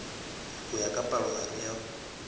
ho ya ka palohare ya